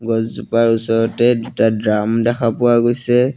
গছ জোপাৰ ওচৰতে দুটা ড্ৰাম দেখা পোৱা গৈছে।